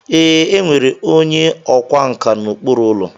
Ee, e nwere onye ọkwá nkà n'okpuru ụlọ.